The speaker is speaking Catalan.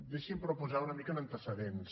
deixi’m però posar los una mica en antecedents